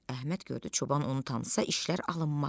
Əhməd gördü çoban onu tanısa işlər alınmaz.